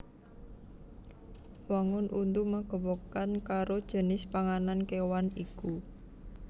Wangun untu magepokan karo jinis panganan kéwan iku